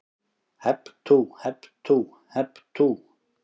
Hep tú, hep tú, hep tú.